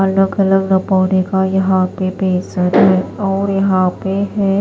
अलग अलग बॉडी का यहाँ पे फेशियल और यहाँ पे है।